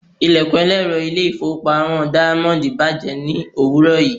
Ilẹ̀kùn ẹlẹ́rọ ilé-ìfowópamọ́ Diamond bàjẹ́ ní òwúrọ̀ yìí.